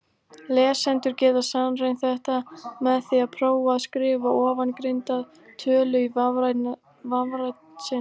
Lesendur geta sannreynt þetta með því að prófa að skrifa ofangreinda tölu í vafrann sinn.